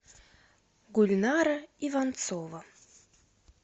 гульнара иванцова